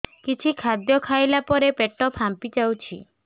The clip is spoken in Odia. କିଛି ଖାଦ୍ୟ ଖାଇଲା ପରେ ପେଟ ଫାମ୍ପି ଯାଉଛି